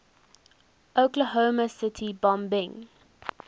oklahoma city bombing